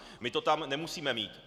My to tam nemusíme mít.